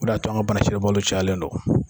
O de y'a to o bana sidɔnbali cayalen dɔn.